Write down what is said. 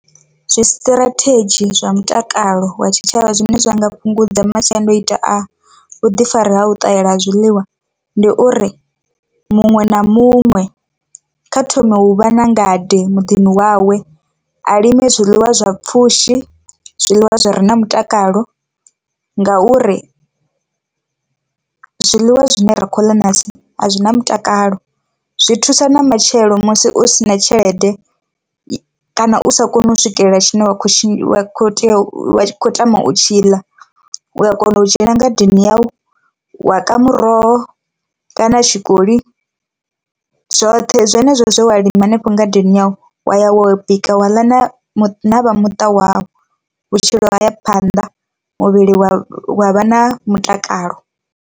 Zwisṱirathedzhi zwa mutakalo wa tshitshavha zwine zwa nga fhungudza masiandaitwa a vhuḓifari ha u ṱahela ha zwiḽiwa ndi uri, muṅwe na muṅwe kha thome hu vha na ngade muḓini wawe, a lime zwiḽiwa zwa pfhushi zwiḽiwa zwi re na mutakalo ngauri zwiḽiwa zwine ra khou ḽa ṋahasi a zwi na mutakalo, zwi thusa na matshelo musi u si na tshelede kana u sa koni u swikelela tshine wa kho tea u khou tama u tshiḽa u a kona u dzhena ngadeni yau wa ka muroho kana tshikoli zwoṱhe zwenezwo zwe wa lima hanefho ngadeni yau wa ya wa bika wa ḽa na vhu na vha muṱa wau, vhutshilo haya phanḓa muvhili wa wa vha na mutakalo.